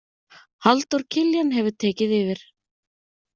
Halldór Kiljan hefur tekið yfir.